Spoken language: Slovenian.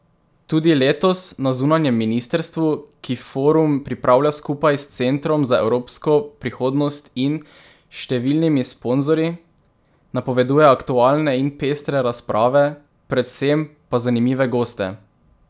Tudi letos na zunanjem ministrstvu, ki forum pripravlja skupaj s Centrom za evropsko prihodnost in številnimi sponzorji, napovedujejo aktualne in pestre razprave, predvsem pa zanimive goste.